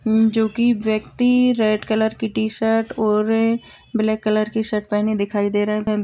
जोकि व्यक्ति red colour की टी-शर्ट और ब्लैक कलर की शर्ट पहेने दिखाई दे रहा--